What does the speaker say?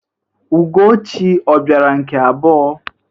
Ugochi ọ bịara nke abụọ?